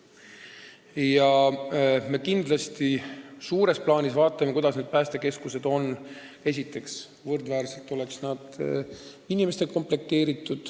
Ja suures plaanis me kindlasti vaatame, kuidas päästekeskused on inimestega komplekteeritud.